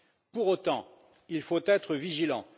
Pour autant, il faut être vigilant.